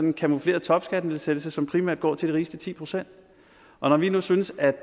en camoufleret topskattenedsættelse som primært går til de rigeste ti procent og når vi nu synes at